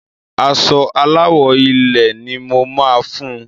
Aṣọ Aláwọ̀ ilẹ̀ ni mo ma fun.